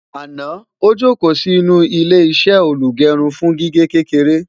àná ojoko Si inú ilé iṣé olugerun fún gígé kékeré